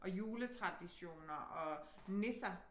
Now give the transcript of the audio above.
Og juletraditioner og nisser